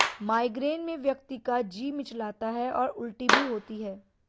migraine में व्यक्ति का जी मिचलाता है और उल्टी भी होती है